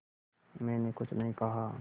मैंने कुछ नहीं कहा